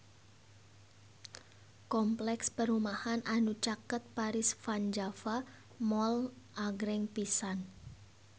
Kompleks perumahan anu caket Paris van Java Mall agreng pisan